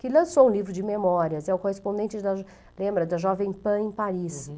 que lançou um livro de memórias, é o correspondente, lembra, da Jovem Pan em Paris. Uhum.